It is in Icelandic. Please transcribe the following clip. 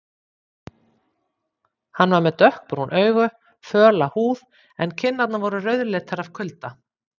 Hann var með dökkbrún augu, föla húð en kinnarnar voru rauðleitar af kulda.